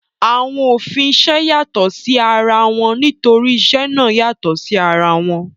Àwọn òfin isẹ́ yàtọ̀ sí ara wọn nítorí isẹ́ náà yàtọ̀ sí ara wọn